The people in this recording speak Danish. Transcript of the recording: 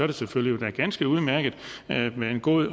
det selvfølgelig ganske udmærket med en god